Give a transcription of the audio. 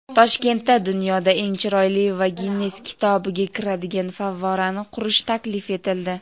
Toshkentda dunyoda eng chiroyli va "Ginnes kitobi"ga kiradigan favvorani qurish taklif etildi.